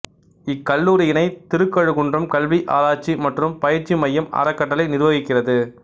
இக்கல்லூரியினை திருக்கழுகுன்றம் கல்வி ஆராய்ச்சி மற்றும் பயிற்சி மையம் அறக்கட்டளை நிர்வகிக்கிறது